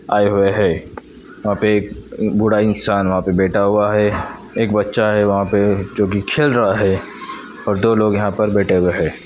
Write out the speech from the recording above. आए हुए हैं वहां पे एक बूढ़ा इंसान वहां पर बैठा हुआ है एक बच्चा है वहां पर जो की खेल रहा है और दो लोग यहां पर बैठे हुए हैं।